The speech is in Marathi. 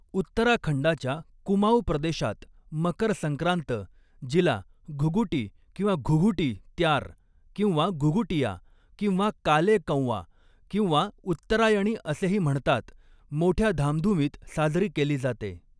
उत्तराखंडाच्या कुमाऊँ प्रदेशात मकर संक्रांत जिला घुगुटी किंवा घुघुटी त्यार किंवा घुघुटिया किंवा काले कौवा किंवा उत्तरायणी असेही म्हणतात मोठ्या धामधुमीत साजरी केली जाते.